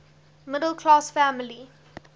middle class family